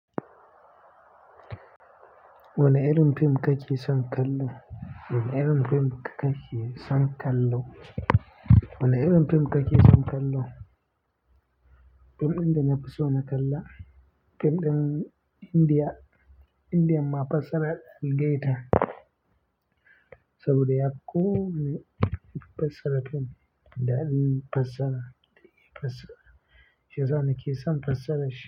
Wane irin fim kake son kallo? Wane irin fim kake son kallo? Wane irin fim kake son kallo? Fim ɗin da na fi so na kalla fim ɗin India, Indian ma fassarar Algaeta saboda yafi ko wane fassara fim daɗin fassara, da iya fassara. Shiyasa na ke son fassarar shi.